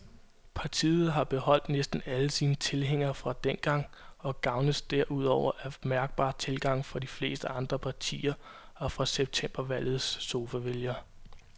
Partiet har beholdt næsten alle sine tilhængere fra dengang og gavnes derudover af mærkbar tilgang fra de fleste andre partier og fra septembervalgets sofavælgere.